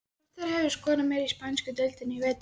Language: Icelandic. Hvor þeirra hefur skorað meira í spænsku deildinni í vetur?